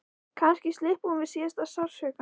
Kannski slyppi hún við síðasta sársaukann.